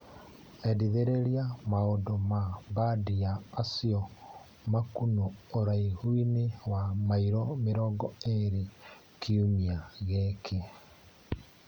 Endithĩrĩria maũndũ ma mbandi ya Acio Makunũ ũraihu-inĩ wa mairo mĩrongo ĩrĩ kiumia gĩkĩ .